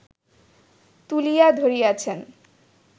তুলিয়া ধরিয়াছেন